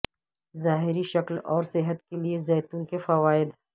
ظاہری شکل اور صحت کے لئے زیتون کے فوائد